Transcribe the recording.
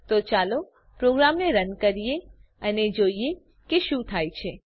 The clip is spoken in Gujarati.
તો ચાલો પ્રોગ્રામને રન કરીએ અને જોઈએ કે શું થાય છે